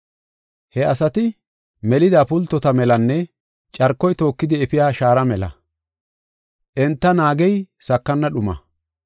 He asati melida pultota melanne carkoy tookidi efiya shaara mela; enta naagey sakana dhumaa.